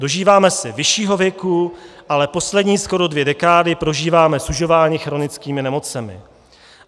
Dožíváme se vyššího věku, ale poslední skoro dvě dekády prožíváme sužováni chronickými nemocemi.